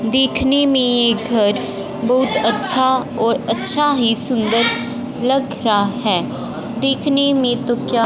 देखने में घर बहुत अच्छा और अच्छा ही सुंदर लग रहा है देखने में तो क्या--